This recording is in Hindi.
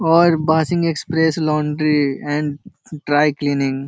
और बासिंग express laundry and dry cleaning.